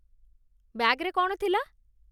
ବ୍ୟାଗ୍‌ରେ କ'ଣ ଥିଲା?